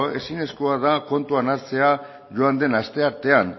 ezinezkoa da kontuan hartzea joan den asteartean